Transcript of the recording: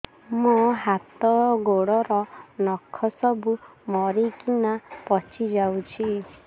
ମୋ ହାତ ଗୋଡର ନଖ ସବୁ ମରିକିନା ପଚି ଯାଉଛି